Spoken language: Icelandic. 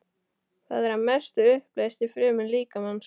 Það er að mestu uppleyst í frumum líkamans.